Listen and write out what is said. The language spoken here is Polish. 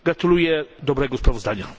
Gratuluję dobrego sprawozdania.